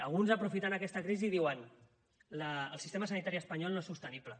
alguns aprofiten aquesta crisi i diuen el sistema sanitari espanyol no és sostenible